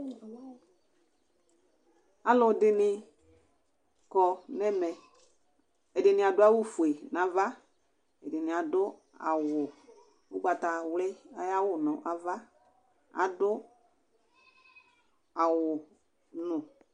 Alʋ ɛdɩnɩ akɔ nʋ ɛmɛ Ɛdɩnɩ adʋ awʋfue nʋ ava, ɛdɩnɩ adʋ ugbatawli ayʋ awʋ nʋ ava, adʋ awʋnʋ